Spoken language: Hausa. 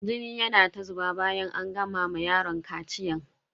Jini yana ta zuba bayan an gama ma yaron kaciyan.